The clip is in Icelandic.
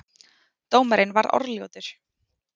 Dómarinn var orðljótur